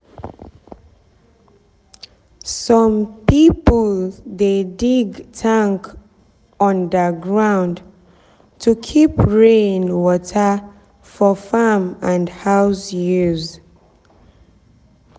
some people dey dig tank under ground to keep rain water for farm and house use.